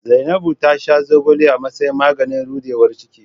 Zainabu ta sha zogale a matsayin maganin rudewar ciki.